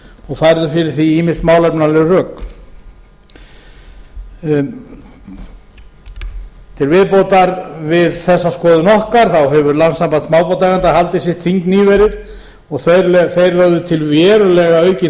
og færðum fyrir því ýmis málefnaleg rök til viðbótar við þessa skoðun okkar hefur landssamband smábátaeigenda haldið sitt þing nýverið og þeir lögðu til verulega aukinn